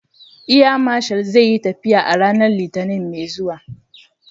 Air Marshal zai yi tafiya a ranar Litinin mai zuwa.